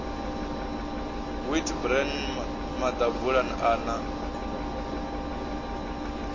wheat bran maḓabula a na